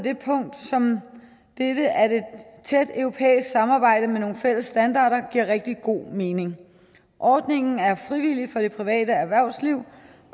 et punkt som dette at et tæt europæisk samarbejde med nogle fælles standarder giver rigtig god mening ordningen er frivillig for det private erhvervsliv